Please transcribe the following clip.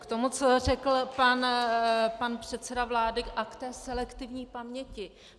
K tomu, co řekl pan předseda vlády, a k té selektivní paměti.